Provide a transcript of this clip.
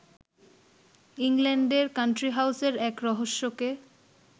ইংল্যাণ্ডের কাণ্ট্রিহাউসের এক রহস্যকে